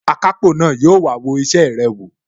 Akápò na yóò wá wo isẹ rẹ wò